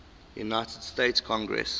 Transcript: united states congress